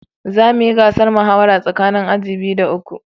Za mu yi gasar muhawara tsakanin aji biyu da uku